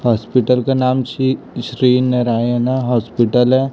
Hospital का नाम C Shri Narayana hospital है।